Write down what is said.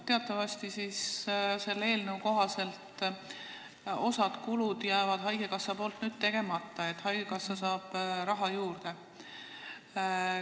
Teatavasti jääb selle eelnõu kohaselt osa kulusid haigekassal tegemata, nii et haigekassal tekib nagu raha juurde.